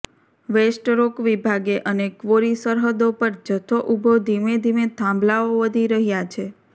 waste rock વિભાગે અને quarry સરહદો પર જથ્થો ઊભો ધીમે ધીમે થાંભલાઓ વધી રહ્યા છે